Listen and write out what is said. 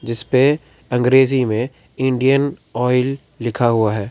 इस पे अंग्रेजी में इंडियन ऑयल लिखा हुआ है।